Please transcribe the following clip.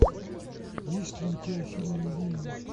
есть ли у тебя фильм невинные